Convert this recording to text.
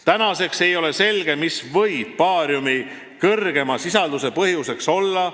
Tänaseks ei ole selge, mis võib baariumi suurema sisalduse põhjuseks olla.